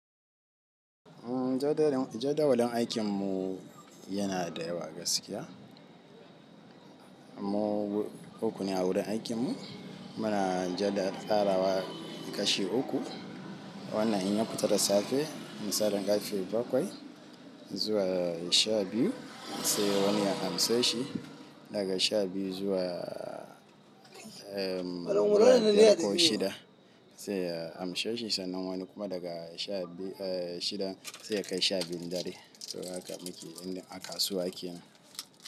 Umm jadawalin aikinmu yana da yawa gaskiya. Mu uku ne a wurin aikinmu. Muna jadad ɗara wa ƙashi uku. Wannan in ya matsu da safe, mu saɗa ƙashi bakwai zuwa sha biyu, sai wani ya amso shi daga sha biyu zuwa, umm, wani ɗaya ko shida sai ya amso shi sannan wani kuma daga sha biyu, eh shida sai ya kai sha biyu na dare. To haka muke inda a kasuwa aikinmu.